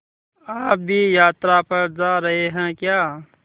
आप भी यात्रा पर जा रहे हैं क्या